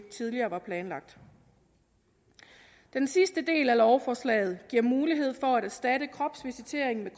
tidligere planlagt den sidste del af lovforslaget giver mulighed for at erstatte kropsvisitering med